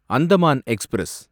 Andaman express